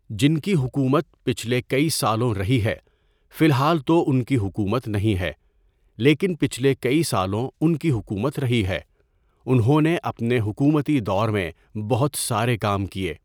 جن کی حکومت پچھلے کئی سالوں رہی ہے، فی الحال تو ان کی حكومت نہیں ہے لیکن پچھلے کئی سالوں ان کی حکومت رہی ہے۔ انہوں نے اپنے حکومتی دور میں بہت سارے کام کیے۔